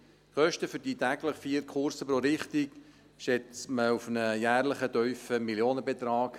Die Kosten für die täglich vier Kurse pro Richtung schätzt man auf einen jährlichen tiefen Millionenbetrag.